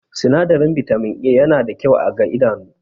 Sinadarin Bitamin A yana da kyau ga idanu